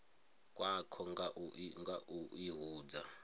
khakwo nga u i hudza